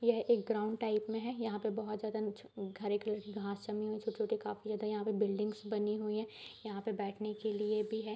यहाँ एक ground type में है यहाँ पर बहुत ज्यादा हरे कलर की घास जमी हुई है पर बिल्डिंग बनी हुई है यहाँ बैठने के लिए भी है।